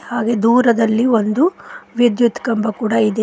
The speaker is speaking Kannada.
ಹಾಗೆ ದೂರದಲ್ಲಿ ಒಂದು ವಿದ್ಯುತ್ ಕಂಬ ಕೂಡ ಇದೆ.